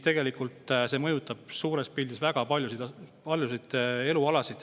Tegelikult see mõjutab suures pildis väga paljusid elualasid.